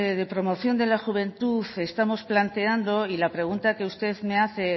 de la promoción de la juventud estamos planteando y la pregunta que usted me hace